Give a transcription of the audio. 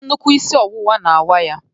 Nnukwu isi ọwụwa na-awa ya